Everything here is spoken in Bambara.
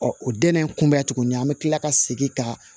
Ɔ o dɛnnen kun bɛ tuguni an bɛ tila ka segin ka